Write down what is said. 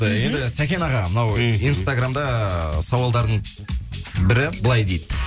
ы енді сәкен аға мынау мхм инстаграмда сауалдардың бірі былай дейді